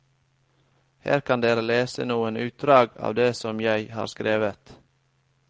Her kan dere lese noen utdrag av det som jeg har skrevet.